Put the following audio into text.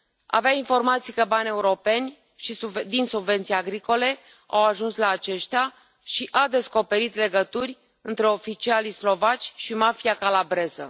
Avea informații că bani europeni din subvenții agricole au ajuns la aceștia și a descoperit legături între oficialii slovaci și mafia calabreză.